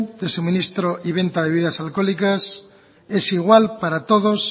de suministro y venta de bebidas alcohólicas es igual para todos